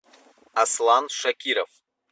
аслан шакиров